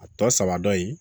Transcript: A tɔ saba dɔ ye